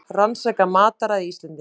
Rannsaka mataræði Íslendinga